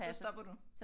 Så stopper du?